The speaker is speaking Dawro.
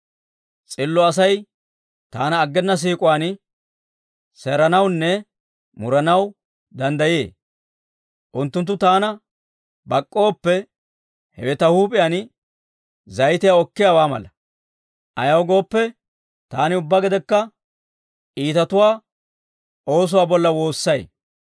S'illo Asay taana aggena siik'uwaan seeranawunne muranaw danddayee; unttunttu taana bak'k'ooppe hewe ta huup'iyaan zayitiyaa okkiyaawaa mala; ayaw gooppe, taani ubbaa gedekka iitatuwaa oosuwaa bolla woossay.